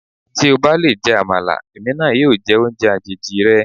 Tí o bá lè jẹ Àmàlà, èmi náà yóò jẹ oúnjẹ àjèjì rẹ.